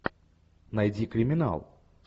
найди криминал